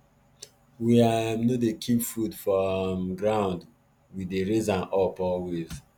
we um no dey ever keep food for um ground we dey raise am up always